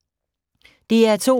DR2